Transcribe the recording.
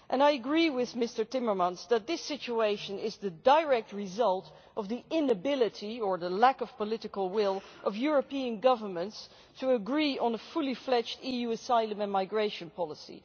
I agree with Mr Timmermans that this situation is the direct result of the inability, or the lack of political will, of European governments to agree on a fully fledged EU asylum and migration policy.